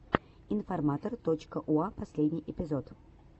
информатор точка уа последний эпизод